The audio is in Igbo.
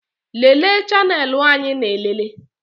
Lelee chanelụ anyị na-elele